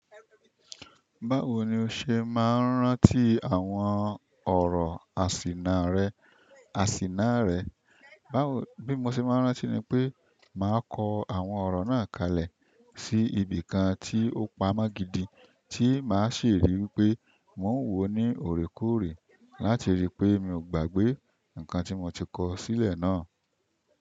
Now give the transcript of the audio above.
Báwo ni o ṣe máa ń rántí àwọn ọ̀rọ̀ àsìnà rẹ? Àsìnà rẹ. Báwo, bí mo ṣe máa ń rántí ni pé màá kọ àwọn ọ̀rọ náà kalẹ̀ sí ibìkan tí ó pamọ́ gidi tí màá ṣe rí wípé mo ń wò ó ní òrèkóòrè láti rí i pé mi ò gbàgbé nǹkan tí mo ti kọ sílẹ̀ náà.